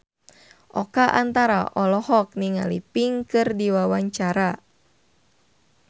Oka Antara olohok ningali Pink keur diwawancara